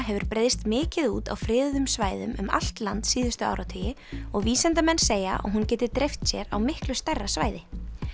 hefur breiðst mikið út á friðuðum svæðum um allt land síðustu áratugi og vísindamenn segja að hún geti dreift sér á miklu stærra svæði